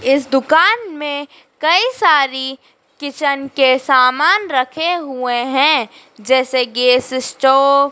इस दुकान में कई सारी किचन के सामान रखे हुए हैं जैसे गैस स्टोव --